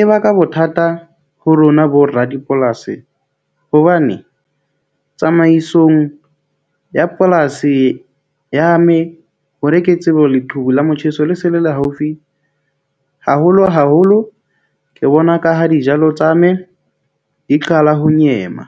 e baka bothata ho rona boradipolasi, hobane tsamaisong ya polasi ya me hore ke tsebe ho leqhubu la motjheso le se le le haufi haholo haholo. Ke bona ka ha dijalo tsa me di qala ho nyema.